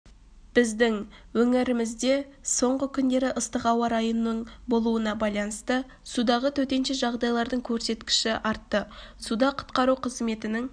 біздің өңірімізде соңғы күндері ыстық ауа-райының болуына байланысты судағы төтенше жағдайлардың көрсеткіші артты суда құтқару қызметінің